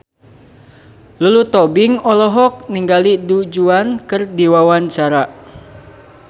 Lulu Tobing olohok ningali Du Juan keur diwawancara